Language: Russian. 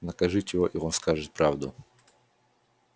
накажите его и он скажет правду